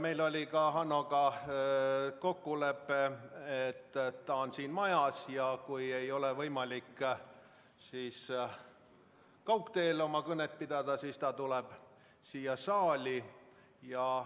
Meil oli ka Hannoga kokkulepe, et ta on siin majas ja kui ei ole võimalik kaugteel oma kõnet pidada, siis ta tuleb siia saali.